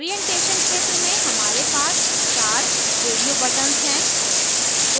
orientation क्षेत्र में हमारे पास 4 radio buttons हैं